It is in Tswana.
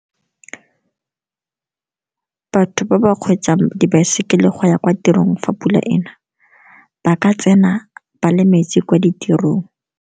Batho ba ba kgweetsang dibaesekele go ya kwa tirong fa pula ena ba ka tsena ba le metsi kwa ditirong.